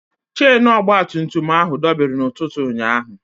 Chenu ọgbatumtum ahụ dọbiri n'ụtụtụ ụnyaahụ.